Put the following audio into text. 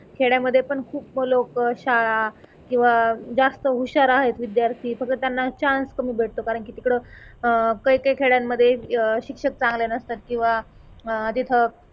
खेड्यामध्ये पण खूप लोक शाळा किंवा जास्त हुशार आहे विद्यार्थी फक्त त्यांना चान्स कमी भेटतो कारण की तिकडं अह काही काही खेड्यांमध्ये अह शिक्षक चांगले नसतात किंवा अह तिथं